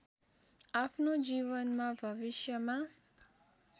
आफ्नो जीवनमा भविष्यमा